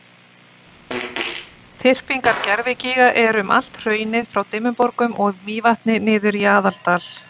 þyrpingar gervigíga eru um allt hraunið frá dimmuborgum og mývatni niður í aðaldal